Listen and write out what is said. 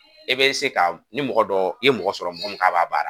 E be se ka, ni mɔgɔ dɔ i ye mɔgɔ sɔrɔ mɔgɔ mun k'a b'a baara.